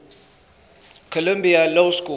columbia law school